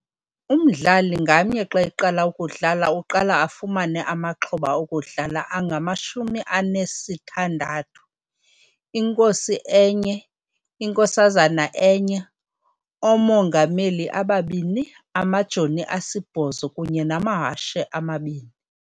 Umdlali ngamnye xa eqala ukudlala uqala afumane amaxhoba okudlala angamashumi anesithandthu- Inkosi enye, Inkosazana enye, Omongamelin ababini, Amajoni asibhozo kunye namahashe amabini.